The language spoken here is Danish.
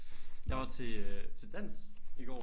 Jeg var til øh til dans i går